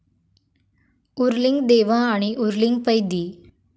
उर्लिंगदेवा आणि उर्लिंग पेद्दी